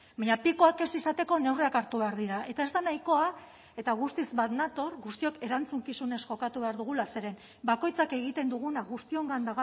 baina pikoak ez izateko neurriak hartu behar dira eta ez da nahikoa eta guztiz bat nator guztiok erantzukizunez jokatu behar dugula zeren bakoitzak egiten duguna guztiongan